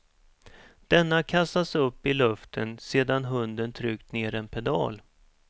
Denna kastas upp i luften sedan hunden tryckt ner en pedal.